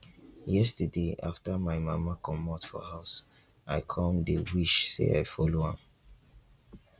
yesterday after my mama comot for house i come dey wish say i follow am